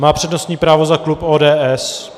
Má přednostní právo za klub ODS.